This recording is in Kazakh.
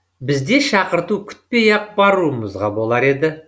біз де шақырту күтпей ақ баруымызға болар еді